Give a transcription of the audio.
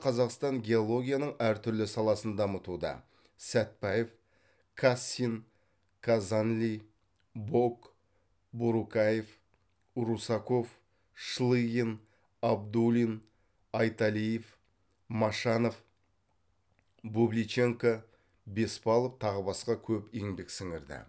қазақстан геологияның әр түрлі саласын дамытуда сәтбаев кассин казанли бок борукаев русаков шлыгин абдулин айталиев машанов бубличенко беспалов тағы басқа көп еңбек сіңірді